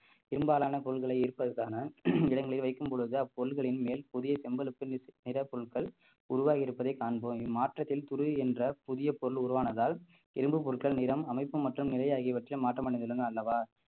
பெரும்பாலான பொருள்களை ஈர்ப்பதற்கான இடங்களில் வைக்கும் பொழுது அப்பொருட்களின் மேல் புதிய செம்பழுப்பு நி~ நிறப் பொருட்கள் உருவாகியிருப்பதை காண்போம் இம்மாற்றத்தில் துரு என்றால் புதிய பொருள் உருவானதால் இரும்பு பொருட்கள் நிறம் அமைப்பு மற்றும் நிலை ஆகியவற்றில் மாற்றமடைந்துள்ளன அல்லவா